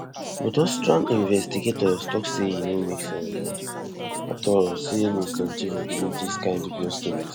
but austrian investigators tok say e no make sense um at all say ms doncheva believe dis kind dubious stories